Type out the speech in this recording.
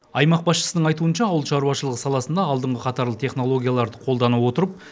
аймақ басшысының айтуынша ауыл шаруашылығы саласында алдыңғы қатарлы технологияларды қолдана отырып